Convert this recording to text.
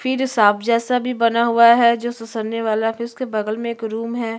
फिर सांप जैसा भी बना हुआ है जो ससरने वाला फिर उसके बगल में एक रूम है।